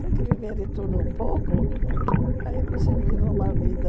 Tem que viver de tudo um pouco, aí você vive uma vida...